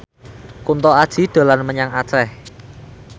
Kunto Aji dolan menyang Aceh